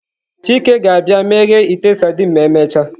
Chike ga-abia meghee ite sardines ma emechaa.